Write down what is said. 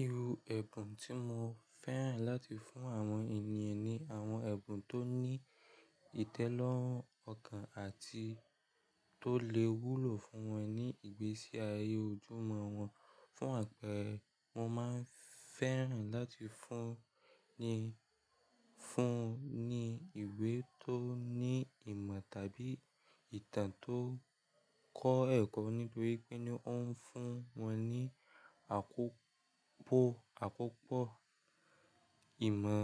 Iru ẹbun ti mo fẹ́ràn láti fún àwọn ènìyàn ni àwọn ẹ̀bùn tó ní ìtẹ́lọ́rùn ọkàn àti tó lè wúlò fún wọn ní ìgbésí ayé ojúmọ́ wọn. Fún àpẹẹrẹ, mo máa ń fẹ́ràn láti fún ni fún un ní ìwé tó ní ìmọ̀ tàbí ìtàn tó kọ́ ẹ̀kọ́ nítorí pé ni ó ń fún wọn ní àkókó àkópọ ìmọ̀